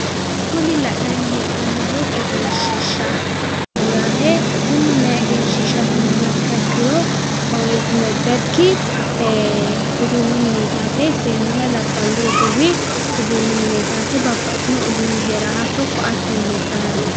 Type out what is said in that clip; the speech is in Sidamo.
Kuni la'nanni hee'noommohu egenshiishshaho yaate kunino mayii egenshiishshaati yinummoha ikkiha ikkiro yeeti nebberkki uduunnu mineeti yaate seennunna labballu roduuwi uduuunnu mineeti yaate babbaxitino uduuni heerawo hattono ko'atte heedhanno yaate